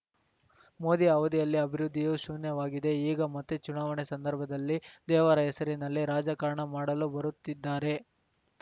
ಮೋದಿ ಅವಧಿಯಲ್ಲಿ ಅಭಿವೃದ್ಧಿಯು ಶೂನ್ಯವಾಗಿದೆ ಈಗ ಮತ್ತೆ ಚುನಾವಣೆ ಸಂದರ್ಭದಲ್ಲಿ ದೇವರ ಹೆಸರಿನಲ್ಲಿ ರಾಜಕಾರಣ ಮಾಡಲು ಬರುತ್ತಿದ್ದಾರೆ